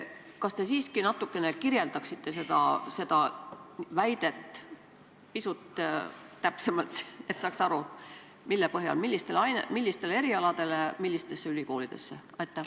Kas te siiski natukene selgitaksite seda väidet pisut täpsemalt, et saaks aru, millistest erialadest ja millistest ülikoolidest on jutt?